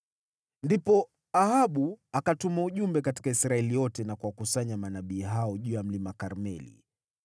Ndipo Ahabu akatuma ujumbe katika Israeli yote na kuwakusanya manabii hao juu ya mlima Karmeli.